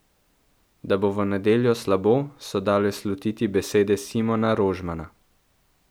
Da bo v nedeljo slabo, so dale slutiti besede Simona Rožmana.